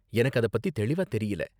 எனக்கு அத பத்தி தெளிவா தெரியல.